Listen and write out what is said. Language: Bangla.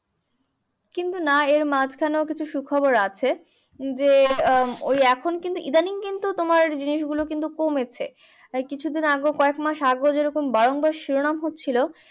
কিন্তু না এর মাঝখানেও কিছু সুখবর আছে। যে, ওই এখন কিন্তু ইদানিং কিন্তু তোমার জিনিসগুলো কিন্তু কমেছে। কিছুদিন আগেও কয়েকমাস আগেও যেরকম বারংবার শিরোনাম হচ্ছিলো